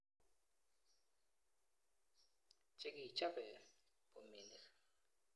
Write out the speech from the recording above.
Che kichope bominik.